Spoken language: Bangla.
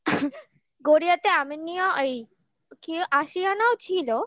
গড়িয়াতে আমিননিয়া ওই কি বলে আশিয়ানাও ছিল